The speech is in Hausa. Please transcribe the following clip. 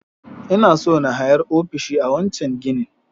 Ina so na hayar ofishi a wancen ginin